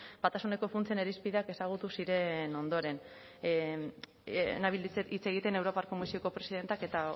batasuneko funtsen irizpideak ezagutu ziren ondoren nabil hitz egiten europar komisioko presidenteak eta